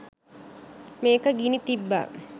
මේක ගිනි තිබ්බා.